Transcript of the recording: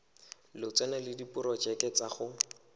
lotseno le diporojeke tsa go